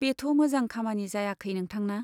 बेथ' मोजां खामानि जायाखै नोंथांना !